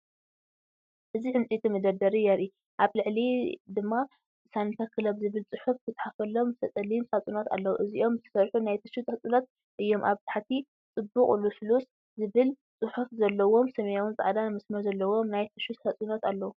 እዚ ዕንጨይቲ መደርደሪ የርኢ። ኣብ ላዕሊ ድማ"ሳኒታ ክለብ" ዝብል ጽሑፍ ዝተጻሕፈሎም ጸሊም ሳጹናት ኣለዉ፣ እዚኦም ዝተሰርሑ ናይ ቲሹ ሳጹናት እዮም። ኣብ ታሕቲ "ጽቡቕ ልስሉስ" ዝብል ጽሑፍ ዘለዎም ሰማያውን ጻዕዳን መስመር ዘለዎም ናይ ቲሹ ሳጹናት ኣለዉ።